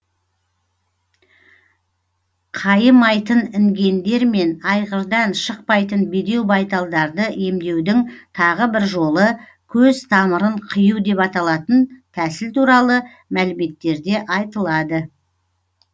қайымайтын інгендер мен айғырдан шықпайтын бедеу байталдарды емдеудің тағы бір жолы көз тамырын қию деп аталатын тәсіл туралы мәліметтерде айтылады